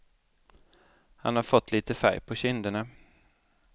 Han har fått lite färg på kinderna.